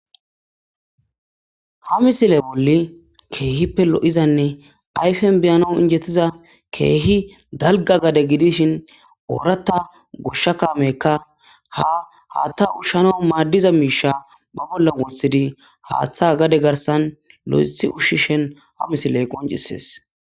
Ha misile bolli keehippe lo'izanne ayfen beyano injettiza keehi dalga gade gidishin ooratta goshsha kaamekka ha haatta ushshano maaddiza miisha ba bolla wossidi haaththa gade garsan lo'ethi ushshishen ha misiley qoncisees.